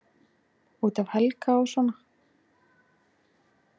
Út af Helga og svona.